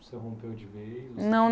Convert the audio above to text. Você rompeu de vez? Não